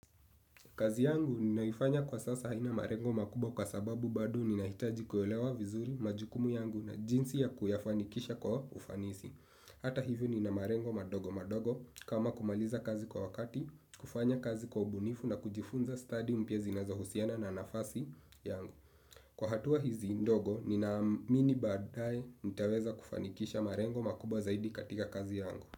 Kazi yangu ninaifanya kwa sasa haina marengo makubwa kwa sababu bado ninahitaji kuelewa vizuri majukumu yangu na jinsi ya kuyafanikisha kwa ufanisi. Hata hivyo nina marengo madogo madogo kama kumaliza kazi kwa wakati, kufanya kazi kwa ubunifu na kujifunza study mpya zinazohusiana na nafasi yangu. Kwa hatua hizi ndogo ninaamini baadae nitaweza kufanikisha marengo makubwa zaidi katika kazi yangu.